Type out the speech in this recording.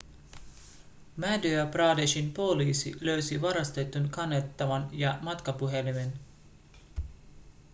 madhya pradeshin poliisi löysi varastetun kannettavan ja matkapuhelimen